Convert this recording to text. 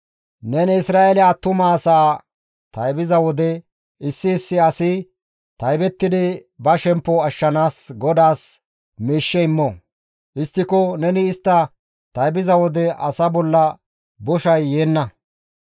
«Neni Isra7eele attuma asaa taybiza wode, issi issi asi taybettidi ba shemppo ashshanaas GODAAS miishshe immo; histtiko neni istta taybiza wode asa bolla boshay yeenna.